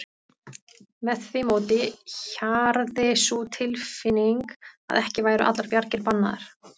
Með því móti hjarði sú tilfinning að ekki væru allar bjargir bannaðar.